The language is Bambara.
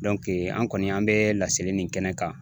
an kɔni an bɛ lasegin nin kɛnɛ kan